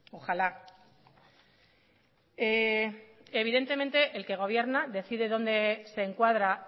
ojalá evidentemente el que gobierna decide dónde se encuadra